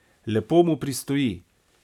Lepo mu pristoji.